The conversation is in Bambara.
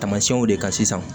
Tamasiyɛnw de kan sisan